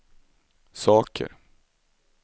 saker